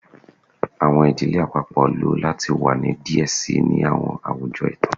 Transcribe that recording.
Awọn idile apapọ lo lati wa ni diẹ sii ni awọn awujọ itan